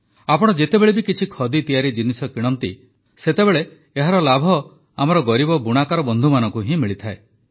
ଆପଣ ଯେତେବେଳେ ବି କିଛି ଖଦି ତିଆରି ଜିନିଷ କିଣନ୍ତି ସେତେବେଳେ ଏହାର ଲାଭ ଆମର ଗରିବ ବୁଣାକାର ବନ୍ଧୁମାନଙ୍କୁ ହିଁ ମିଳିଥାଏ